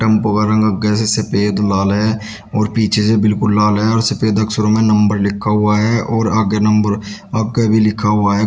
Tempo का रंग आगे से सफेद लाल है और पीछे से बिल्कुल लाल है और सफेद अक्षरों में नंबर लिखा हुआ है और आगे नंबर आगे भी लिखा हुआ है।